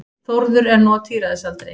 Þórður er nú á tíræðisaldri.